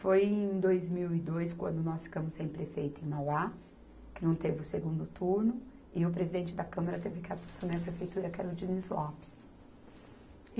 Foi em dois mil e dois, quando nós ficamos sem prefeito em Mauá, que não teve o segundo turno, e o presidente da Câmara teve que assumir a prefeitura, que era o Diniz Lopes.